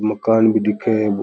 मकान भी दिखे है।